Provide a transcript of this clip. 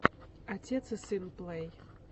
отец и сын плэй